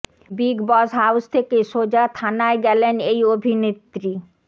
big Boss house থেকে সোজা থানায় গেলেন এই অভিনেত্রী